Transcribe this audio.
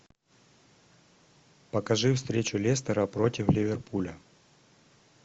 покажи встречу лестера против ливерпуля